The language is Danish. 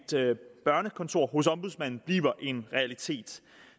børnekontor hos ombudsmanden bliver en realitet